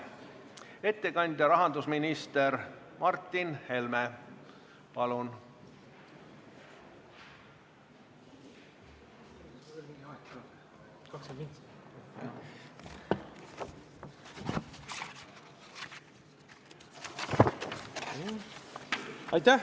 Ettekandja rahandusminister Martin Helme, palun!